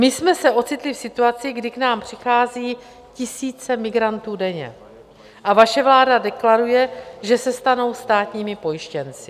My jsme se ocitli v situaci, kdy k nám přichází tisíce migrantů denně, a vaše vláda deklaruje, že se stanou státními pojištěnci.